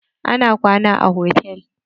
Na kwana a hotal.